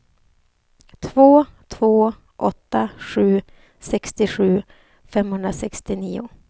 två två åtta sju sextiosju femhundrasextionio